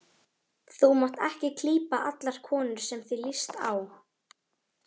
Þú mátt ekki klípa allar konur sem þér líst á.